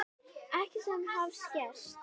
Ekkert sem hafði gerst.